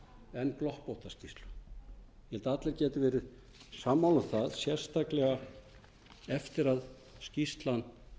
en gloppótta skýrslu ég held að allir geti verið sammála um það sérstaklega eftir að skýrslan